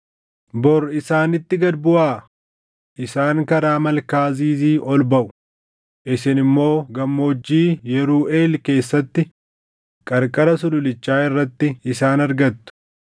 Bor isaanitti gad buʼaa. Isaan karaa malkaa Ziizi ol baʼu; isin immoo gammoojjii Yiruuʼeel keessatti qarqara sululichaa irratti isaan argattu.